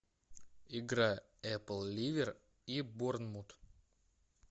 игра апл ливер и борнмут